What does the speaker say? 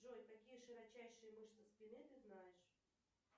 джой какие широчайшие мышцы спины ты знаешь